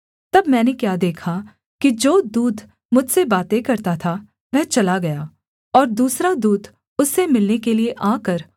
तब मैंने क्या देखा कि जो दूत मुझसे बातें करता था वह चला गया और दूसरा दूत उससे मिलने के लिये आकर